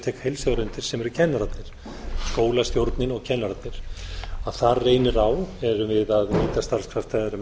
tek heilshugar undir sem eru kennararnir skólastjórnin og kennararnir þar reynir á erum við að nýta starfskrafta með